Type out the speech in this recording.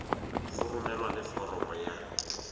go romelwa le foromo ya